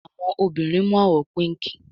Àwọn obìrin mu àwò píìnkí